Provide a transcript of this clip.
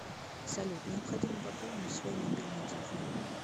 салют необходимо пополнить свой мобильный телефон